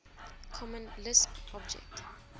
common lisp object